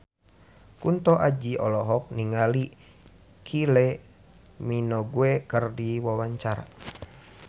Kunto Aji olohok ningali Kylie Minogue keur diwawancara